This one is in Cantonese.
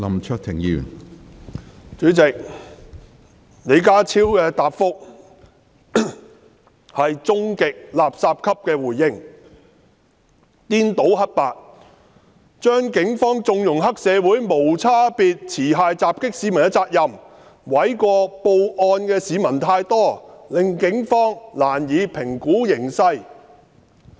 主席，李家超的答覆是"終極垃圾級"的回應，顛倒黑白，將警方縱容黑社會無差別持械襲擊市民的責任，諉過於報案的市民太多，令警方難以評估形勢。